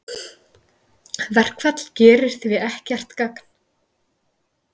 Verkfall gerir því ekkert gagn